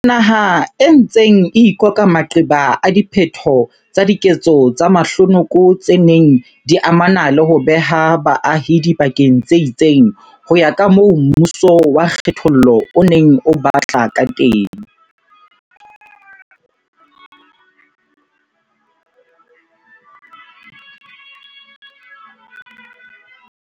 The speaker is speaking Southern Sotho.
Re naha e ntseng e ikoka maqeba a diphetho tsa diketso tse mahlonoko tse neng di amana le ho beha baahi dibakeng tse itseng ho ya kamoo mmuso wa kge thollo o neng o batla kateng.